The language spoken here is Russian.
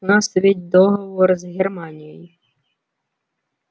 у нас ведь договор с германией